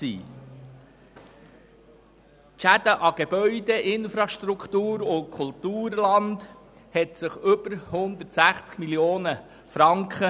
Die Schäden an Gebäuden, Infrastruktur und Kulturland beliefen sich auf über 160 Mio. Franken.